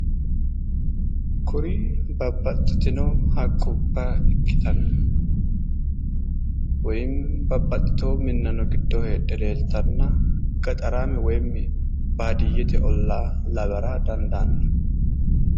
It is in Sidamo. Kuri babbaxxitino haqqubba ikkitanna woyiimi babbaxxiteyo minnano giddo heedhe leeltanna gaxaraame woyiimmi baadiyyete ollaa lawara dandaanno